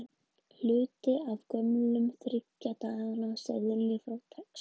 Hluti af gömlum þriggja dala seðli frá Texas.